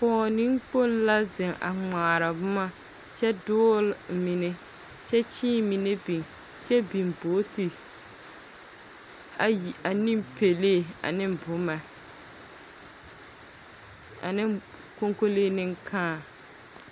Pͻge neŋkpoŋ la zeŋ a ŋmaara boma kyԑ doole mine kyԑ kyee mine biŋi kyԑ biŋ booti ayi aneŋ pelaa aneŋ boma aneŋ koŋkolee neŋ kãã.